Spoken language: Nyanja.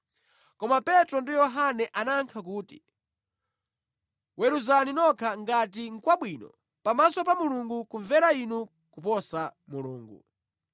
Koma Petro ndi Yohane anayankha kuti, “Weruzani nokha ngati nʼkwabwino pamaso pa Mulungu kumvera inu koposa Mulungu.